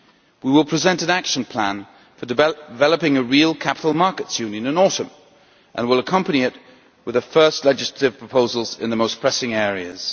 We will present an action plan for developing a real capital markets union in autumn, and we will accompany it with the first legislative proposals in the most pressing areas.